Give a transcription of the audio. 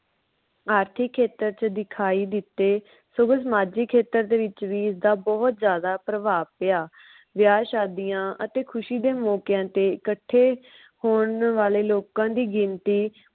ਆਰਥਿਕ ਖੇਤਰ ਚ ਦਖਾਈ ਦਿਤੇ। ਸਮਾਜਿਕ ਖੇਤਰ ਦੇ ਵਿਚ ਵੀ ਇਸਦਾ ਬੋਹਤ ਜਿਆਦਾ ਭਰਭਾਵ ਪਿਆ ਵਿਆਹ ਸ਼ਾਦੀਆਂ ਅਤੇ ਖੁਸ਼ੀ ਦੇ ਮੌਕਿਆਂ ਤੇ ਇਕੱਠੇ ਹੋਣ ਵਾਲੇ ਲੋਕਾਂ ਦੀ ਗਿਣਤੀ